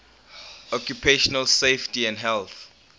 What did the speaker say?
occupational safety and health